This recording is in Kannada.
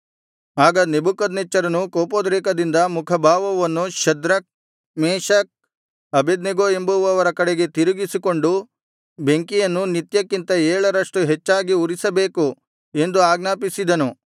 ಆಗ ನೆಬೂಕದ್ನೆಚ್ಚರನು ಕೋಪೋದ್ರೇಕದಿಂದ ಮುಖಭಾವವನ್ನು ಶದ್ರಕ್ ಮೇಶಕ್ ಅಬೇದ್ನೆಗೋ ಎಂಬುವವರ ಕಡೆಗೆ ತಿರುಗಿಸಿಕೊಂಡು ಬೆಂಕಿಯನ್ನು ನಿತ್ಯಕ್ಕಿಂತ ಏಳರಷ್ಟು ಹೆಚ್ಚಾಗಿ ಉರಿಸಬೇಕು ಎಂದು ಆಜ್ಞಾಪಿಸಿದನು